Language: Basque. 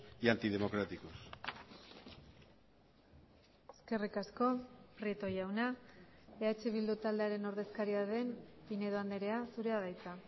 y antidemocráticos eskerrik asko prieto jauna eh bildu taldearen ordezkaria den pinedo andrea zurea da hitza